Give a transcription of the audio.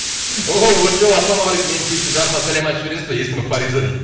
оу очоу ассалаумағалейкум менің сүйікті жарыма сәлем айтып жібересіз ба есімі фариза дейді